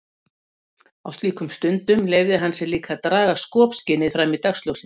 Á slíkum stundum leyfði hann sér líka að draga skopskynið fram í dagsljósið.